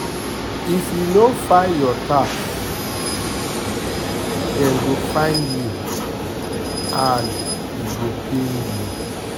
If you no file your tax, dem go fine you and e go pain you.